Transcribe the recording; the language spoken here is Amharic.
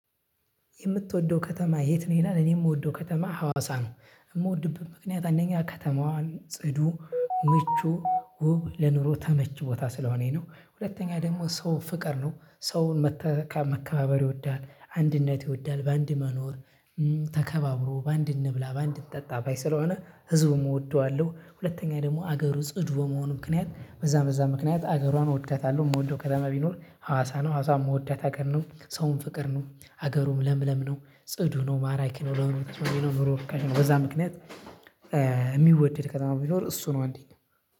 የምትወደው ከተማ የት ነው? ይላል እኔ የምወደው ከተማ ሀዋሳ ነው የምወድብት ምክንያት አንደኛ ከተማዋን ጽዱ፣ ምቹ፣ ውብ ለኑሮ ተመች ቦታ ስለሆነች ነው። ሁለተኛ ደግሞ ሰው ፍቅር ነው። ሰው መከባበር ይወዳል፤ አንድነት ይወዳል፤ በአንድ መኖር ተከባብሮ በአንድ እንብላ በአንድ እንጠጣ ባይ ስለሆነ ህዝቡም እወደዋለሁ። ሁለተኛ ደግሞ አገሩ ጽዱ በመሆኑ ምክንያት በዛ በዛም ምክንያት አገሯን እወዳታለሁ። የምወደው ከተማ ቢኖር ሀዋሳ ነው። ሀዋሳ የምወዳት አገር ነው ሰውን ፍቅር ነው፤ አገሩም ለምለም ነው፤ ጽዱ ነው፤ ማራኪ ነው፤ ለምለም ተስማሚ ነው ኑሮ ርካሽ ነው። በዛ ምክንያት የሚወደድ ከተማ ቢኖር እሱ ነው። አንደኛ